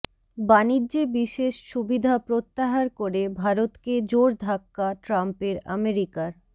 বাণিজ্যে বিশেষ সুবিধা প্রত্যাহার করে ভারতকে জোর ধাক্কা ট্রাম্পের আমেরিকার